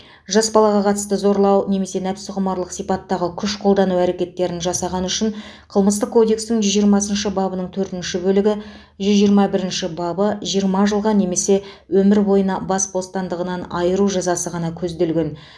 жас балаға қатысты зорлау немесе нәпсіқұмарлық сипаттағы күш қолдану әрекеттерін жасағаны үшін қылмыстық кодекстің жүз жиырмасыншы бабының төртінші бөлігі жүз жиырма бірінші бабы жиырма жылға немесе өмір бойына бас бостандығынан айыру жазасы ғана көзделген